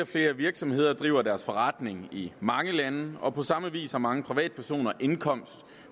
flere virksomheder driver deres forretning i mange lande og på samme vis har mange privatpersoner indkomst